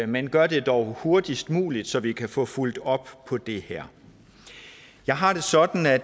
men gør det dog hurtigst muligt så vi kan få fulgt op på det her jeg har det sådan at